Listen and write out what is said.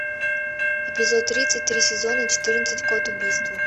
эпизод тридцать три сезона четырнадцать код убийства